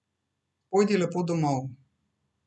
Pojdi lepo domov.